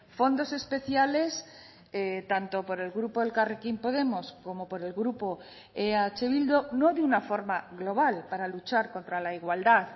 fondos especiales tanto por el grupo elkarrekin podemos como por el grupo eh bildu no de una forma global para luchar contra la igualdad